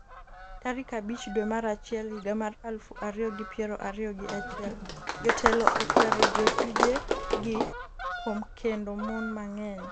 tarik abich dwe mar achiel higa mar aluf ariyo gi piero ariyo gi achiel jotelo okwero jotije gi kuom kendo mon mang'eny